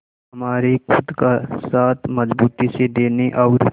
हमारे खुद का साथ मजबूती से देने और